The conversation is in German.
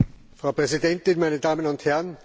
Frau Präsidentin, meine Damen und Herren!